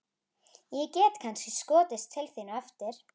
Ég get kannski skotist til þín á eftir.